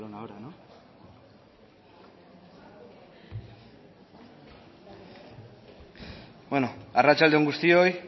beno arratsalde on guztioi